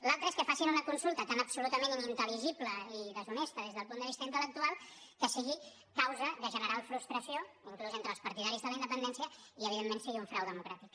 l’altra és que facin una consulta tan absolutament inintel·i deshonesta des del punt de vista intel·lectual que sigui causa de general frustració inclús entre els partidaris de la independència i evidentment sigui un frau democràtic